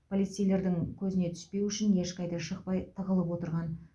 полицейлердің көзіне түспеу үшін ешқайда шықпай тығылып отырған